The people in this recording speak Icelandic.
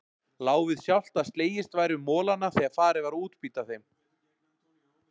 Lá við sjálft að slegist væri um molana þegar farið var að útbýta þeim.